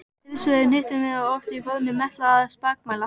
Tilsvör eru hnitmiðuð og oft í formi meitlaðra spakmæla.